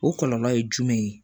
O kɔlɔlɔ ye jumɛn ye